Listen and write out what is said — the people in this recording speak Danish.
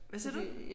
Hvad siger du?